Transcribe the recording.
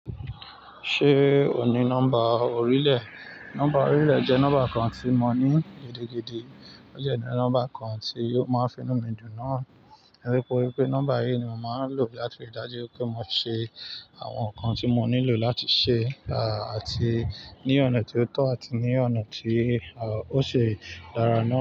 Ṣé ò ní nọ́mbà orílẹ̀? Nọ́mbà orílẹ̀ jẹ́ nọ́mbà kan tí mo ní gidigidi, ó jẹ́ ní nọ́mbà kan tí ò máa finú mi dùn náà. Tori pè pé nọ́mbà yìí ni mo màá n lò láti rí dájú pé mo ṣe àwọn nǹkan tí mo nílò láti ṣe, àti ní ọ̀nà tí ó tọ́ àti ní ọ̀nà tí ó si dára náà.